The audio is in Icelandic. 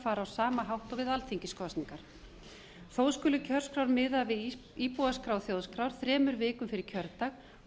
á sama hátt og við alþingiskosningar þó skulu kjörskrár miðaðar við íbúaskrá þjóðskrár þremur vikum fyrir kjördag og